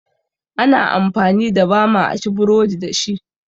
Ana amfani da bama a ci burodi dashi